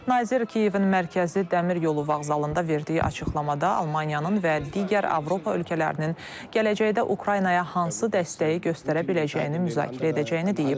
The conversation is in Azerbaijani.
Nazir Kiyevin mərkəzi Dəmir Yolu Vağzalında verdiyi açıqlamada Almaniyanın və digər Avropa ölkələrinin gələcəkdə Ukraynaya hansı dəstəyi göstərə biləcəyini müzakirə edəcəyini deyib.